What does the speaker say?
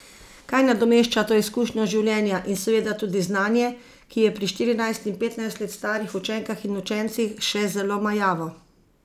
Kaj nadomešča to izkušnjo življenja, in seveda tudi znanje, ki je pri štirinajst in petnajst let starih učenkah in učencih še zelo majavo?